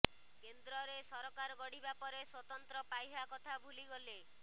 କେନ୍ଦ୍ରରେ ସରକାର ଗଢ଼ିବା ପରେ ସ୍ୱତନ୍ତ୍ର ପାହ୍ୟା କଥା ଭୁଲିଗଲେ